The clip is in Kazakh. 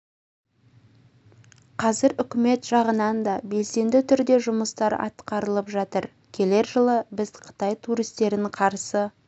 қазір үкімет жағынан да белсенді түрде жұмыстар атқаралып жатыр келер жылы біз қытай туристерін қарсы